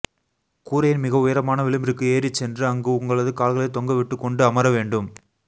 கூரையின் மிக உயரமான விளிம்பிற்கு ஏறிச் சென்று அங்கு உங்களது கால்களைத் தொங்க விட்டுக் கொண்டு அமர வேண்டும்